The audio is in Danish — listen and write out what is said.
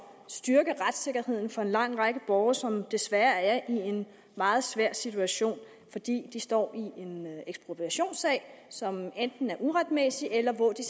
og styrke retssikkerheden for en lang række borgere som desværre er i en meget svær situation fordi de står i en ekspropriationssag som enten er uretmæssig eller hvor de